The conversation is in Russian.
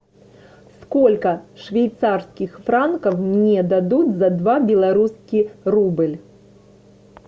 сколько швейцарских франков мне дадут за два белорусский рубль